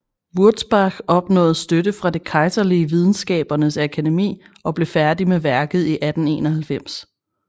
Wurzbach opnåede støtte fra det kejserlige videnskabernes akademi og blev færdig med værket i 1891